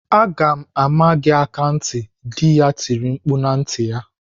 "Aga m ama gị aka ntị!" Dị ya tiri mkpu na ntị ya.